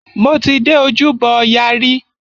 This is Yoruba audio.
Mo ti dé Ojúbọ ọya rí.